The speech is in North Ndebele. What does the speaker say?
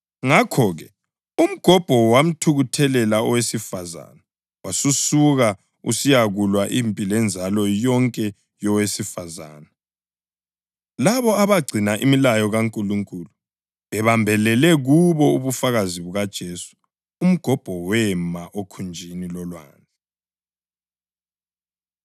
Ngakho-ke, umgobho wamthukuthelela owesifazane wasusuka usiyakulwa impi lenzalo yonke yowesifazane, labo abagcina imilayo kaNkulunkulu bebambelele kubo ubufakazi bukaJesu. Umgobho wema okhunjini lolwandle.